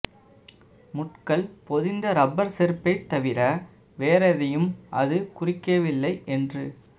முட்கள் பொதிந்த ரப்பர் செருப்பைத் தவிர வேறெதையும் அது குறிக்கவில்லை என்று